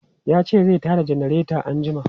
Ya ce zai ta da janareta anjima.